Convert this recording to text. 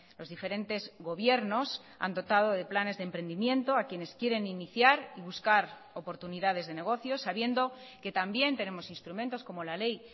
los diferentes gobiernos han dotado de planes de emprendimiento a quienes quieren iniciar y buscar oportunidades de negocio sabiendo que también tenemos instrumentos como la ley